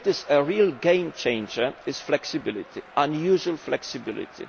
The real game changer is flexibility unusual flexibility.